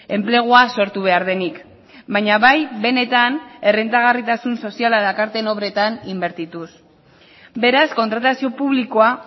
enplegua sortu behar denik baina bai benetan errentagarritasun soziala dakarten obretan inbertituz beraz kontratazio publikoa